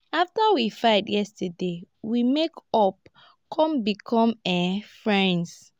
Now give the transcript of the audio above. after we fight yesterday we make up come become um friends